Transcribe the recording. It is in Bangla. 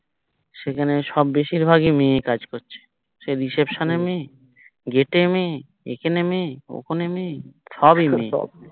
সেখানে সব বেশির ভাগই মেয়ে কাজ করছে সে reception এ মেয়ে gate এ মেয়ে হম এখানে মেয়ে ওখানে মেয়ে সবিই মেয়ে